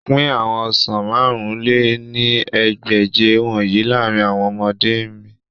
Pin awọn ọsan màrún lé ní ẹgbẹ́je wọnyi laarin awọn ọmọde mean